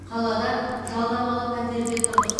қалада жалдамалы пәтерде тұрдық